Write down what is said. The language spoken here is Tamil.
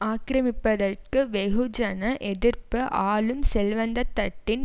ஆக்கிரமிப்பதற்கு வெகுஜன எதிர்ப்பு ஆளும் செல்வந்தத்தட்டின்